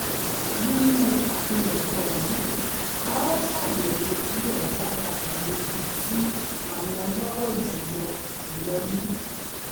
nínú àpilẹ̀kọ yìí a óò ṣàyẹ̀wò díẹ̀ lára àwọn ibi tí àwọn ọlọ́rọ̀ jù lọ jù lọ ní